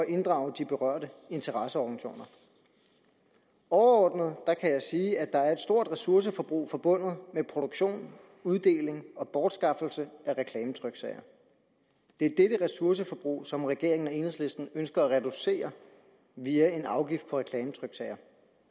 inddrage de berørte interesseorganisationer overordnet kan jeg sige at der er et stort ressourceforbrug forbundet med produktion uddeling og bortskaffelse af reklametryksager det er dette ressourceforbrug som regeringen og enhedslisten ønsker at reducere via en afgift på reklametryksager